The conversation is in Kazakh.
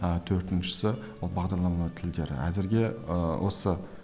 ы төртіншісі ол бағдарламалау тілдері әзірге ыыы осы